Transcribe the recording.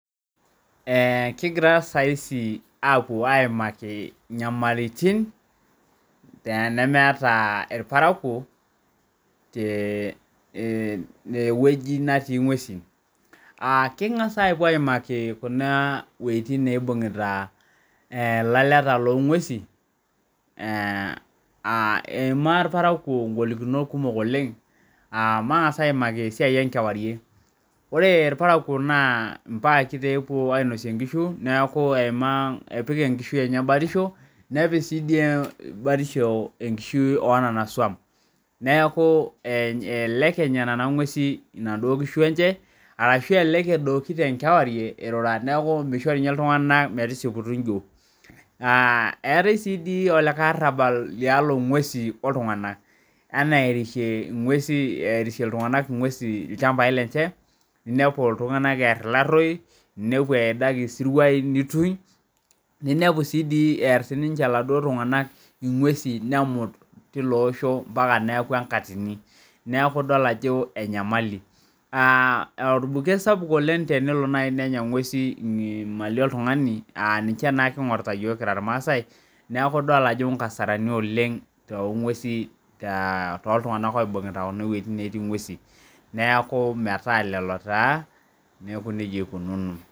Ee kigira sai aimaki nyamalitin nemeeta irparakuo tewoi natii ngwesu kingasa apuo aimaki wuejitin naibung'ita laleta longwesu eima laramatak ngolikinot kumok oleng matangasa aimaki esiai enkewarie ore irparakuo na mpakinepuo ainosie nkishu neaku epik mbaa enye batisho nepik si batisho enkishui onanasuan arashu elelek edoki tenkewarie irurua neaku misho ltunganak eirura eetae ai lake arabal longwesi oltunganak erishie ltunganak ngwesi ilchambai lenye inepu ltunganak earita larou inepu eidaki siruai ninepu si ear sinche laduo tunganak ingwesi ambaka neaku enkatini orbuket sapuk oleng tenelo ngwesu anya mali oltungani aa ninche kingurita yiok kira irmaasai neaku idol ajo inkasarani toltunganak oibungita ewoi natii ng'wesi neaku nejia ikununo.